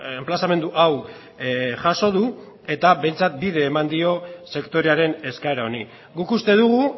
enplazamendu hau jaso du eta behintzat bide eman dio sektorearen eskaera honi guk uste dugu